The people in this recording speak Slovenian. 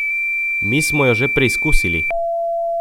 Mi smo jo že preizkusili!